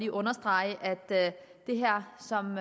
at understrege at det her som